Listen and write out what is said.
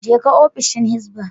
Je ka ofishin Hizba.